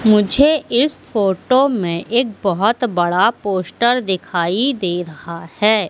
मुझे इस फोटो में एक बहोत बड़ा पोस्टर दिखाई दे रहा है।